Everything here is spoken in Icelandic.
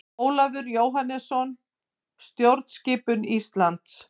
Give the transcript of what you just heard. Ólafur Jóhannesson: Stjórnskipun Íslands.